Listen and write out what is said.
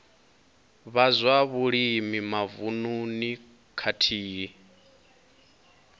vha zwa vhulimi mavununi khathihi